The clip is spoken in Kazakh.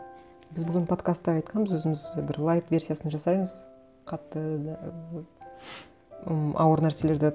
біз бүгін подкастта айтқанбыз өзіміз бір лайт версиясын жасаймыз қатты да м ауыр нәрселерді